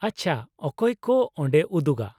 -ᱟᱪᱪᱷᱟ, ᱚᱠᱚᱭ ᱠᱚ ᱚᱰᱮ ᱩᱫᱩᱜᱟ ?